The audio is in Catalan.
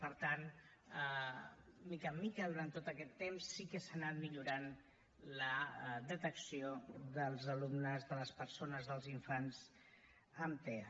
per tant de mica en mica durant tot aquest temps sí que s’ha anat millorant la detecció dels alumnes de les persones dels infants amb tea